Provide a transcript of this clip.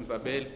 bil